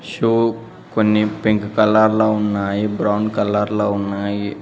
Shoe కొన్ని pink colour లో ఉన్నాయి బ్రౌన్ కలర్ లో ఉన్నాయి.